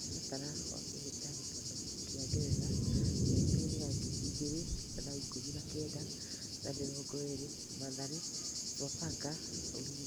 Mũtaratara wa Kĩhĩtahĩtano kĩa Ngeretha mĩakainĩ ya ngiri igĩrĩ na ikũmi na kenda na mĩrongo ĩrĩ: Mathare, Sofapaka, Ulinzi.